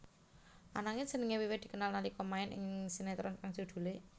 Ananging jenengé wiwit dikenal nalika main ing sinetron kang judhulé